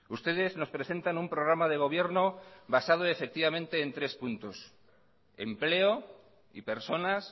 ustedes nos presentan un programa de gobierno basado efectivamente en tres puntos empleo y personas